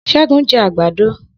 Segun jẹ àgbàdo